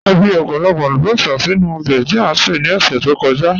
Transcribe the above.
À fí ọ̀pọ̀lọ̀pọ̀ àlùbọ́sà sínu òbè tí a ṣè ní ọṣẹ̀ tó kọ̀já.